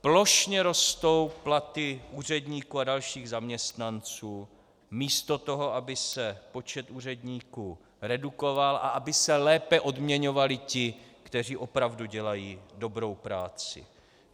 Plošně rostou platy úředníků a dalších zaměstnanců místo toho, aby se počet úředníků redukoval a aby se lépe odměňovali ti, kteří opravdu dělají dobrou práci.